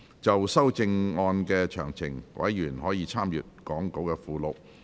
就修正案詳情，委員可參閱講稿附錄。